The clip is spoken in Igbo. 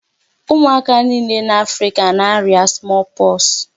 Ụmụaka niile n'Africa na-aria small pox.